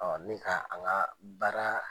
nin ka a ka baara